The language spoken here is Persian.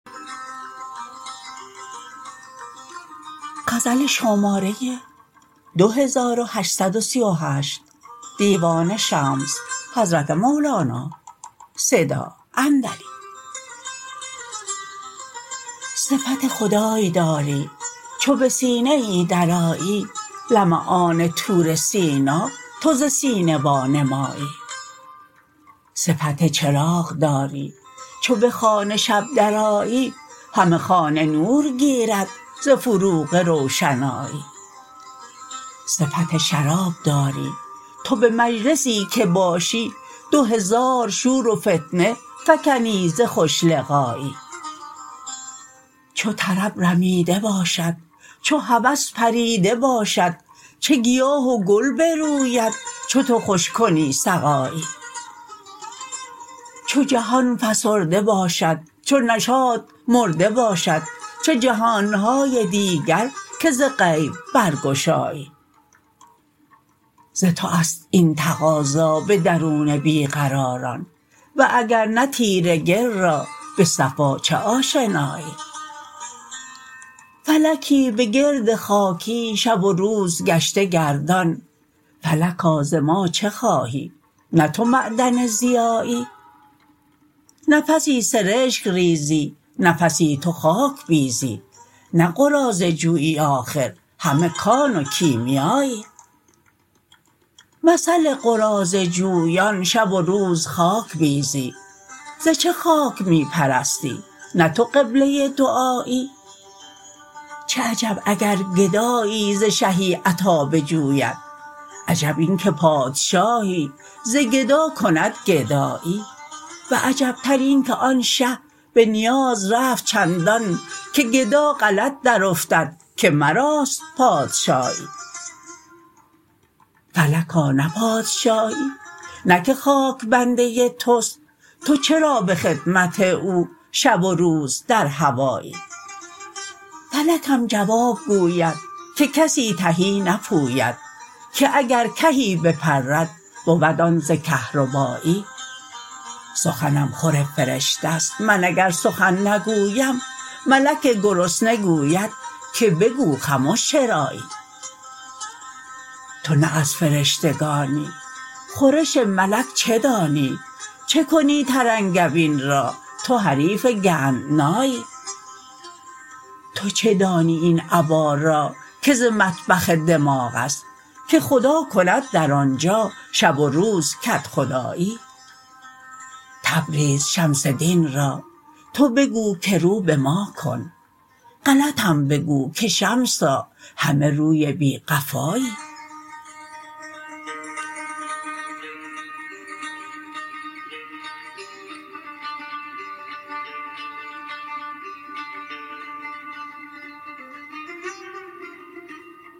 صفت خدای داری چو به سینه ای درآیی لمعان طور سینا تو ز سینه وانمایی صفت چراغ داری چو به خانه شب درآیی همه خانه نور گیرد ز فروغ روشنایی صفت شراب داری تو به مجلسی که باشی دو هزار شور و فتنه فکنی ز خوش لقایی چو طرب رمیده باشد چو هوس پریده باشد چه گیاه و گل بروید چو تو خوش کنی سقایی چو جهان فسرده باشد چو نشاط مرده باشد چه جهان های دیگر که ز غیب برگشایی ز تو است این تقاضا به درون بی قراران و اگر نه تیره گل را به صفا چه آشنایی فلکی به گرد خاکی شب و روز گشته گردان فلکا ز ما چه خواهی نه تو معدن ضیایی نفسی سرشک ریزی نفسی تو خاک بیزی نه قراضه جویی آخر همه کان و کیمیایی مثل قراضه جویان شب و روز خاک بیزی ز چه خاک می پرستی نه تو قبله دعایی چه عجب اگر گدایی ز شهی عطا بجوید عجب این که پادشاهی ز گدا کند گدایی و عجبتر اینک آن شه به نیاز رفت چندان که گدا غلط درافتد که مراست پادشاهی فلکا نه پادشاهی نه که خاک بنده توست تو چرا به خدمت او شب و روز در هوایی فلکم جواب گوید که کسی تهی نپوید که اگر کهی بپرد بود آن ز کهربایی سخنم خور فرشته ست من اگر سخن نگویم ملک گرسنه گوید که بگو خمش چرایی تو نه از فرشتگانی خورش ملک چه دانی چه کنی ترنگبین را تو حریف گندنایی تو چه دانی این ابا را که ز مطبخ دماغ است که خدا کند در آن جا شب و روز کدخدایی تبریز شمس دین را تو بگو که رو به ما کن غلطم بگو که شمسا همه روی بی قفایی